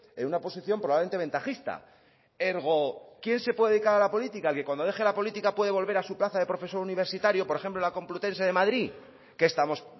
en una posición probablemente ventajista ergo quién se puede dedicar a la política el que cuando deje la política puede volver a su plaza de profesor universitario por ejemplo en la complutense de madrid qué estamos